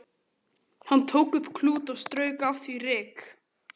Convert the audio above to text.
Hann tók upp klút og strauk af því ryk.